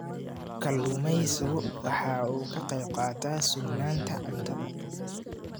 Kalluumaysigu waxa uu ka qayb qaataa sugnaanta cuntada.